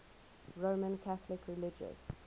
roman catholic religious